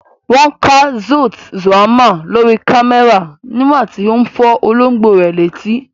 Wọ́n ká Kurt Zuoma lórí kámẹ́rà nígbà tí ó ń fọ́ olóńgbò rẹ̀ létí.